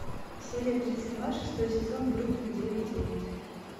серия тридцать два шестой сезон бруклин девять девять